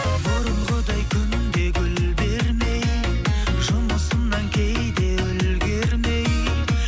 бұрынғыдай күнде гүл бермей жұмысымнан кейде үлгермей